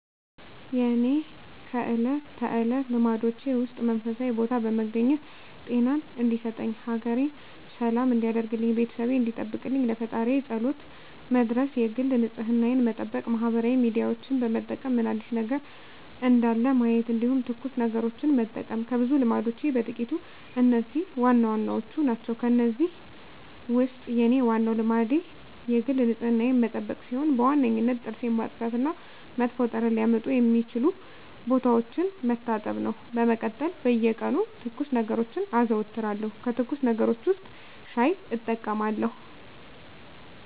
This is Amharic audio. የእኔ ከእለት ተለት ልማዶቼ ውስጥ መንፈሳዊ ቦታ በመገኘት ጤናየን እንዲሰጠኝ፣ ሀገሬን ሰላም እንዲያደርግልኝ፣ ቤተሰቤን እንዲጠብቅልኝ ለፈጣሪየ ፀሎት መድረስ የግል ንፅህናየን መጠበቅ ማህበራዊ ሚዲያዎችን በመጠቀም ምን አዲስ ነገር እንዳለ ማየት እንዲሁም ትኩስ ነገሮችን መጠቀም ከብዙ ልማዶቼ በጥቂቱ እነዚህ ዋናዎቹ ናቸው። ከእነዚህ ውስጥ የኔ ዋናው ልማዴ የግል ንፅህናዬን መጠበቅ ሲሆን በዋነኝነት ጥርሴን ማፅዳት እና መጥፎ ጠረን ሊያመጡ የሚችሉ ቦታዎችን መታጠብ ነው። በመቀጠል በየቀኑ ትኩስ ነገሮችን አዘወትራለሁ ከትኩስ ነገሮች ውስጥ ሻይ እጠቀማለሁ።